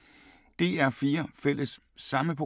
DR P4 Fælles